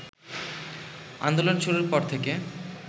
আন্দোলন শুরুর পর থেকে